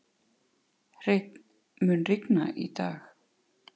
Hreinn, mun rigna í dag?